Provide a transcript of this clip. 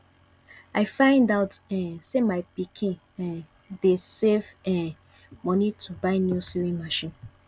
i find out um say my pikin um dey save um money to buy new sewing machine